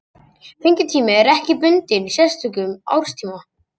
Fengitími er ekki bundinn sérstökum árstíma.